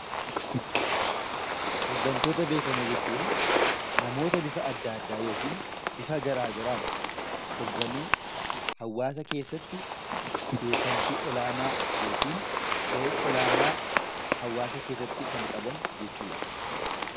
Hooggantoota beekamoo jechuun namoota bifa adda addaa yookaan bifa garaagaraatiin hoogganuu hawaasa keessatti beekamtii olaanaa yookiin gahee olaanaa hawaasa keessatti kan qaban jechuudha